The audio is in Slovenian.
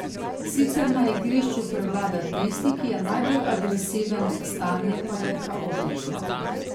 Sicer na igrišču prevlada tisti, ki je najbolj agresiven, stanje pa je kaotično.